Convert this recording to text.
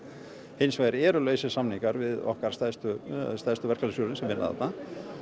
hins vegar eru lausir samningar við okkar stærstu stærstu verkalýðsfélög sem vinna þarna